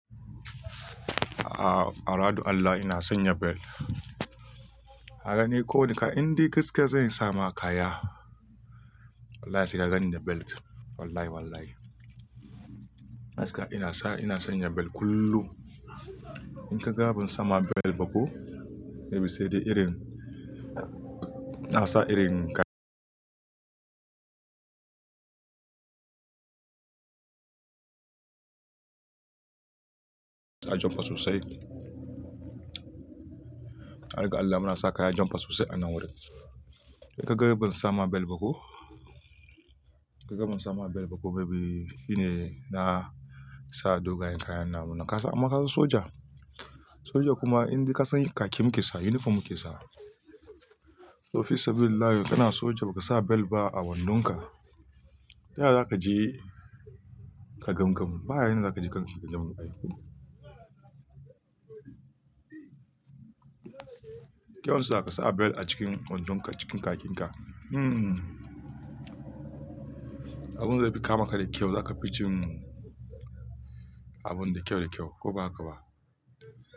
Aradu Allah ina son yabel. Haka ne ko da inda gaske zan samu kaya. Wallahi sai ka gani da belt. Wallahi wallahi. Gaskiya ina sa, ina son ya bel kullum. In ka ga ban samu bel ba ko, maybe sai dai irin, na sa irin sa janɓa sosai. Har ga Allah muna sa kaya jamfa sosai anan wurin in ka ga ban sama bel ba ko, ka ga ban samu bel ba ko maybe shine na sa dogayen kaya, amma ƙasan soja, soja kuma inde. Ƙasan soja khakki muke sawa, uniform muke sawa to fi sabilillah, kana soja ba ka sa bel ba a wandonka. Ta yaya za ka je ka gam gam? Ba hanyar za ka je kanki gam gam ba. Kyawun sa ka sa bel a cikin wandonka, cikin bakinka. Hmm. Abin da zai fi kama ka da kyau, za ka fi cin abun da kyau da kyau ko ba haka ba?